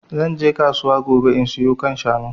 Zan je kasuwa gobe in sayo kan shanu